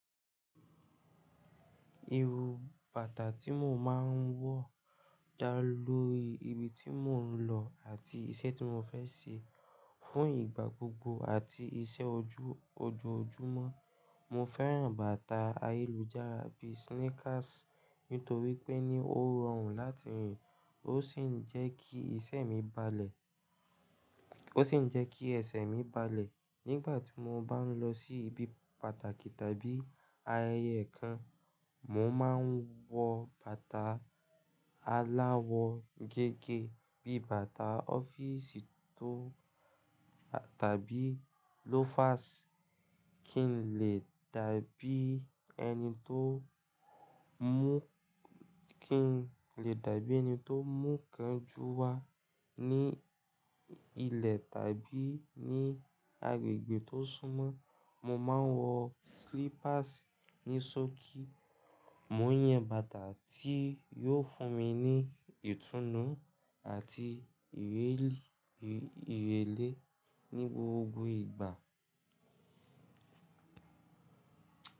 Iru bàtà tí mo máa ń wọ dá lórí ibi tí mò ń lọ àti iṣẹ́ tí mo fẹ́ ṣe. Fún ìgbà gbogbo àti iṣẹ́ ojú ojoojúmọ́, mo fẹ́ràn bàtà ayélujára bíi sneakers nítorí pé ni ó rọrùn láti rìn. Ó sì ń jé ki ó sì ń jẹ́ kí ẹsẹ̀ mi balẹ̀. Nígbà tí mo bá ń lọ sí ibi pàtàkì tàbí ayẹyẹ kan, mo máa ń wọ bàtà aláwọ̀ gẹ́gẹ́ bíi bàtà ọ́fíìsì tàbí loafers kí n lè dàbí ẹni tó mú kánjú wá. Ni ilẹ̀ tàbí ní agbègbè tó súnmọ́, mo máa ń wọ slippers ní ṣókí. Mò ń yan bàtà tí yóò fún mi ní ìtùnú àti ìrẹ́lẹ́ ní gbogbo ìgbà.